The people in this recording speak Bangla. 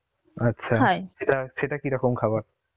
আচ্ছা এটা সেটা কিরকম খাবার?